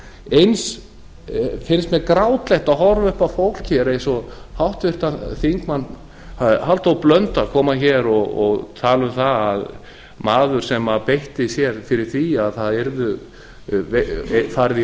eins finnst mér grátlegt að horfa upp á fólk eins og háttvirtur þingmaður halldór blöndal koma hér og tala um það að maður sem beitti sér fyrir því að það yrði farið